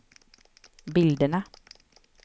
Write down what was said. bilderna